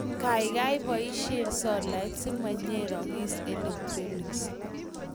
Kaikai iboisie solait simanyerokis electronics